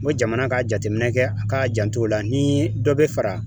Ngo jamana ka jateminɛ kɛ a k'a jant'o la ni dɔ be fara